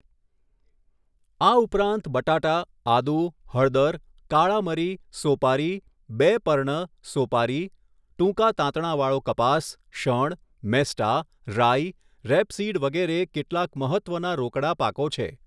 આ ઉપરાંત બટાટા, આદુ, હળદર, કાળા મરી, સોપારી, 'બે' પર્ણ સોપારી, ટૂંકા તાંતણા વાળો કપાસ, શણ, મેસ્ટા, રાઈ, રેપસીડ વગેરે કેટલાક મહત્ત્વના રોકડા પાકો છે.